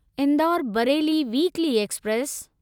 Indore Bareilly weekly express